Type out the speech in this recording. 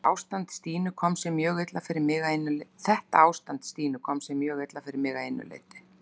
Þetta ástand Stínu kom sér mjög illa fyrir mig að einu leyti.